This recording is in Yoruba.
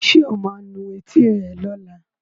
Sọ ma nu etí ẹ lọ́la?